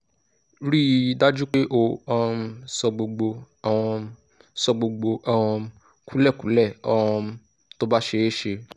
rí i dájú pé o um sọ gbogbo um sọ gbogbo um kúlẹ̀kúlẹ̀ um tó bá ṣeé ṣe